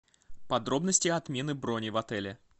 подробности отмены брони в отеле